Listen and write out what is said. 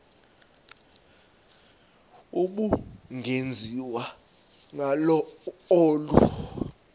ubungenziwa ngalo olu